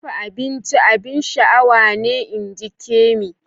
Dafa abinci abin sha'awa ne inji Kemi.